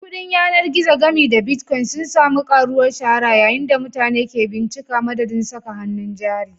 Kuɗin yanar gizo, gami da Bitcoin, sun sami karuwar shahara yayin da mutane ke bincika madadin saka hannun jari.